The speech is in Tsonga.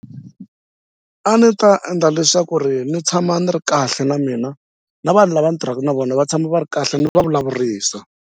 A ni ta endla leswaku ri ni tshama ni ri kahle na mina na vanhu lava ndzi tirhaka na vona va tshama va ri kahle ni va vulavurisa.